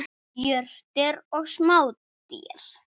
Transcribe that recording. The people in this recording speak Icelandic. Jurtir og smádýr.